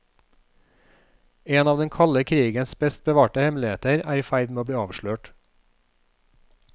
En av den kalde krigens best bevarte hemmeligheter er i ferd med å bli avslørt.